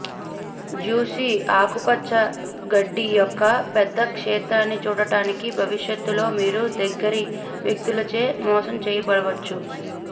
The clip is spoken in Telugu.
జ్యుసి ఆకుపచ్చ గడ్డి యొక్క పెద్ద క్షేత్రాన్ని చూడడానికి భవిష్యత్తులో మీరు దగ్గరి వ్యక్తులచే మోసం చేయబడవచ్చు